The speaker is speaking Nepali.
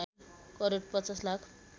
करोड ५० लाख